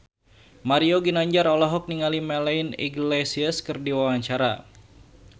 Mario Ginanjar olohok ningali Melanie Iglesias keur diwawancara